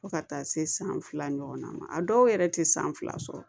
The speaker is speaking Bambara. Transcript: Fo ka taa se san fila ɲɔgɔnna ma a dɔw yɛrɛ tɛ san fila sɔrɔ